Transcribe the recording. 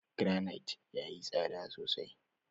Garanait yayi tsada sosai.